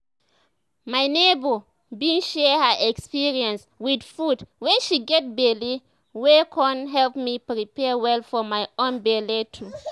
my neighbor bin share her experience with food wen she get belle wey con help me prepare well for my own belle too